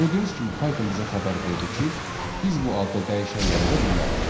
Gördüyünüz kimi Python bizə xəbər verdi ki, biz bu adda dəyişən yarada bilmərik.